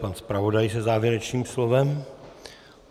Pan zpravodaj se závěrečným slovem.